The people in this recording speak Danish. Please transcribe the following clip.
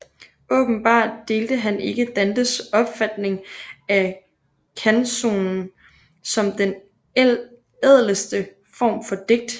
Åbenbart delte han ikke Dantes opfatning af canzonen som den ædleste form for digt